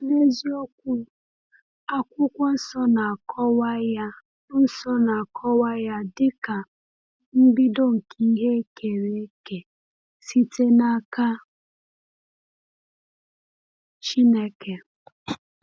N’eziokwu, Akwụkwọ Nsọ na-akọwa ya Nsọ na-akọwa ya dịka “mbido nke ihe e kere eke site n’aka Chineke.”